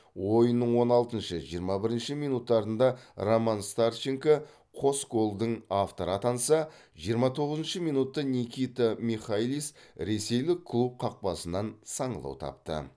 ойынның он алтыншы жиырма бірінші минуттарында роман старченко қос голдың авторы атанса жиырма тоғызыншы минутта никита михайлис ресейлік клуб қақпасынан саңылау тапты